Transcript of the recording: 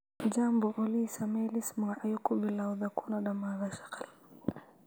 Jambo olly samee liis magacyo ku bilowda kuna dhamaada shaqal